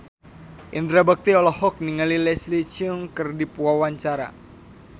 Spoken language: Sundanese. Indra Bekti olohok ningali Leslie Cheung keur diwawancara